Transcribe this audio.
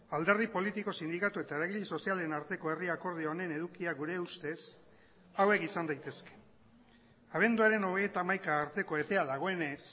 alderdi politiko sindikatu eta eragile sozialen arteko herri akordio honen edukia gure ustez hauek izan daitezke abenduaren hogeita hamaika arteko epea dagoenez